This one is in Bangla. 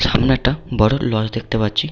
সামনে একটা বড় লজ দেখতে পাচ্ছি।